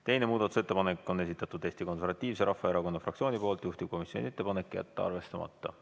Teine muudatusettepanek on esitatud Eesti Konservatiivse Rahvaerakonna fraktsiooni poolt, juhtivkomisjoni ettepanek on jätta arvestamata.